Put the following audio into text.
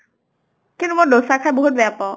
কিন্তু মই দচা খাই বিহুত বেয়া পাওঁ।